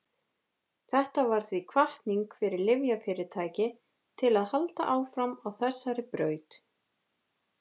þetta varð því hvatning fyrir lyfjafyrirtæki til að halda áfram á þessari braut